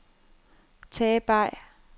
Tage Bay